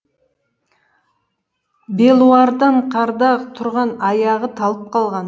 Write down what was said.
белуардан қарда тұрған аяғы талып қалған